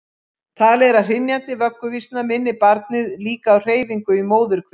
Talið er að hrynjandi vögguvísna minni barnið líka á hreyfinguna í móðurkviði.